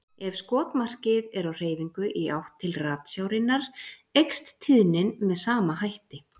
Ef skotmarkið er á hreyfingu í átt til ratsjárinnar eykst tíðnin með sama hætti.